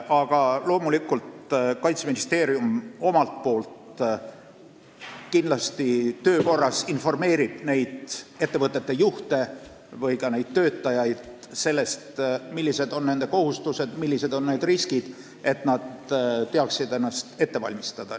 Aga loomulikult, Kaitseministeerium omalt poolt kindlasti töö korras informeerib nende ettevõtete juhte või ka neid töötajaid sellest, millised on nende kohustused ja millised on riskid, et nad teaksid ennast ette valmistada.